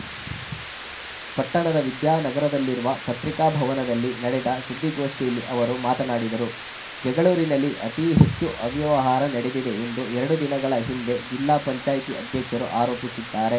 ಪಟ್ಟಣದ ವಿದ್ಯಾನಗರದಲ್ಲಿರುವ ಪತ್ರಿಕಾಭವನದಲ್ಲಿ ನಡೆದ ಸುದ್ದಿಗೋಷ್ಠಿಯಲ್ಲಿ ಅವರು ಮಾತನಾಡಿದರು ಜಗಳೂರಿನಲ್ಲಿ ಅತೀ ಹೆಚ್ಚು ಅವ್ಯವಹಾರ ನಡೆದಿದೆ ಎಂದು ಎರಡು ದಿನಗಳ ಹಿಂದೆ ಜಿಲ್ಲಾ ಪಂಚಾಯ್ತಿ ಅಧ್ಯಕ್ಷರು ಆರೋಪಿಸಿದ್ದಾರೆ